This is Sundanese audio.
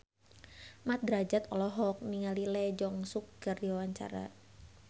Mat Drajat olohok ningali Lee Jeong Suk keur diwawancara